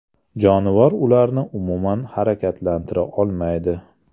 Jonivor ularni umuman harakatlantira olmaydi.